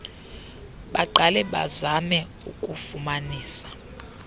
baqale bazame ukufumanisa